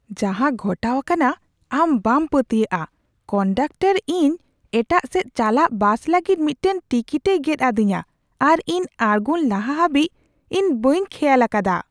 ᱡᱟᱦᱟᱸ ᱜᱷᱚᱴᱟᱣ ᱟᱠᱟᱱᱟ ᱟᱢ ᱵᱟᱢ ᱯᱟᱹᱛᱭᱟᱹᱜᱼᱟ ! ᱠᱚᱱᱰᱟᱠᱴᱚᱨ ᱤᱧ ᱮᱴᱟᱜ ᱥᱮᱫ ᱪᱟᱞᱟᱜ ᱵᱟᱥ ᱞᱟᱹᱜᱤᱫ ᱢᱤᱫᱴᱟᱝ ᱴᱤᱠᱤᱴᱮᱭ ᱜᱮᱫ ᱟᱹᱫᱤᱧᱟ, ᱟᱨ ᱤᱧ ᱟᱲᱜᱳᱱ ᱞᱟᱦᱟ ᱦᱟᱹᱵᱤᱡ ᱤᱧ ᱵᱟᱹᱧ ᱠᱷᱮᱭᱟᱞ ᱟᱠᱟᱫᱟ !